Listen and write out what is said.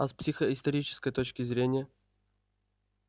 а с психоисторической точки зрения